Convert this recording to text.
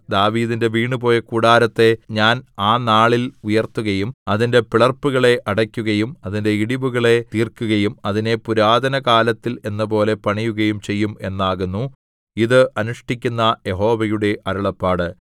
ദാവീദിന്റെ വീണുപോയ കൂടാരത്തെ ഞാൻ ആ നാളിൽ ഉയർത്തുകയും അതിന്റെ പിളർപ്പുകളെ അടയ്ക്കുകയും അതിന്റെ ഇടിവുകളെ തീർക്കുകയും അതിനെ പുരാതനകാലത്തിൽ എന്നപോലെ പണിയുകയും ചെയ്യും എന്നാകുന്നു ഇത് അനുഷ്ഠിക്കുന്ന യഹോവയുടെ അരുളപ്പാട്